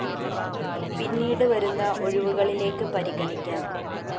പിന്നീട് വരുന്ന ഒഴിവുകളിലേക്ക് പരിഗണിക്കാന്‍ ംംം